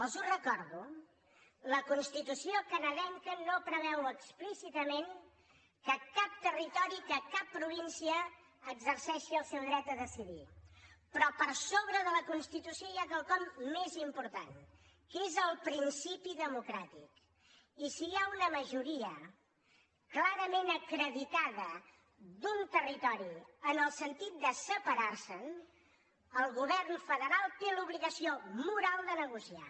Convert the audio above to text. els ho recordo la constitució canadenca no preveu explícitament que cap territori que cap província exerceixi el seu dret a decidir però per sobre de la constitució hi ha quelcom més important que és el principi democràtic i si hi ha una majoria clarament acreditada d’un territori en el sentit de separar se’n el govern federal té l’obligació moral de negociar